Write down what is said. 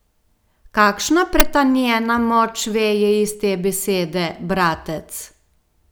Kakšna pretanjena moč veje iz te besede, bratec!